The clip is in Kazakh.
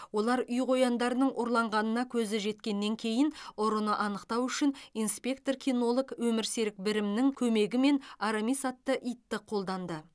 олар үй қояндарының ұрланғанына көз жеткізгеннен кейін ұрыны анықтау үшін инспектор кинолог өмірсерік бірімнің көмегімен арамис атты итті қолданды